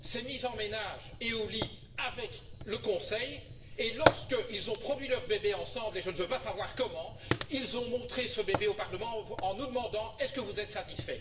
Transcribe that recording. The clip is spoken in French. s'est mise en ménage et au lit avec le Conseil, et lorsqu'ils ont produit ensemble leur bébé et je ne veux pas savoir comment ils ont montré ce bébé au Parlement en nous demandant Êtes vous satisfaits?.